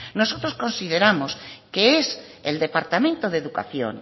nosotros consideramos que es el departamento de educación